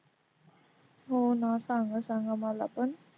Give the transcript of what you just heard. हो ना सांगा सांगा मला पण.